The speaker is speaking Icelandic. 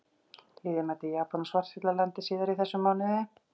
Liðið mætir Japan og Svartfjallalandi síðar í þessum mánuði.